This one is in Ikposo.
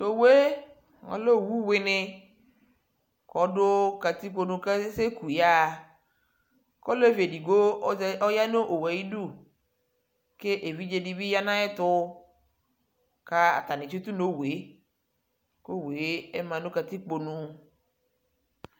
to owue ɔlɛ owu wini ko ɔdo katikpo nu ko asɛ ku yaɣa ko olevi edigbo ɔya no owue ayidu ko evidze di bi ya no ayɛto ko atani atsito no owue ko owue ma no katikpo nu